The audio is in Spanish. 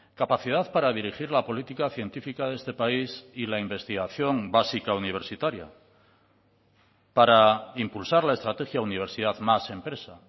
capacidad para dirigir la política científica de este país y la investigación básica universitaria para impulsar la estrategia universidad más empresa